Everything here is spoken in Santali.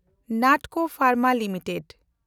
ᱱᱟᱴᱠᱳ ᱯᱷᱮᱱᱰᱢᱟ ᱞᱤᱢᱤᱴᱮᱰ